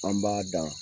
An b'a dan